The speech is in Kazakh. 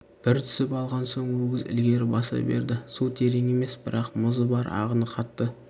бір түсіп алған соң өгіз ілгері баса берді су терең емес бірақ мұзы бар ағыны қатты